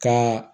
Ka